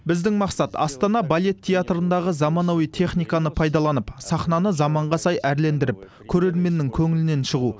біздің мақсат астана балет театрындағы заманауи техниканы пайдаланып сахнаны заманға сай әрлендіріп көрерменнің көңілінен шығу